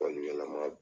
yɛlɛma